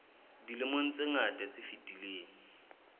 dilemong tse ngata tse fetileng